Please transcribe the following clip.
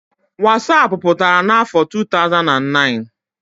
wasapụ pụtara n'afọ 2009